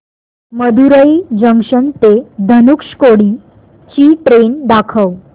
Madurai junction ते धनुषकोडी ची train दाखव